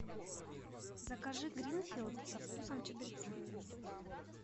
закажи гринфилд со вкусом чабреца